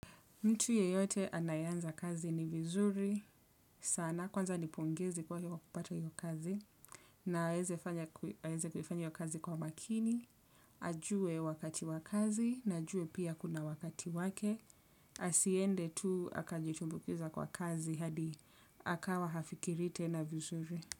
Mtu yeyote anayeanza kazi ni vizuri sana kwanza nipongeze kwa kupata hiyo kazi. Aweze kufanya hiyo kazi kwa makini, ajue wakati wa kazi, na ajue pia kuna wakati wake, asiende tu akajitumbukiza kwa kazi hadi akawa hafikiri tena vizuri.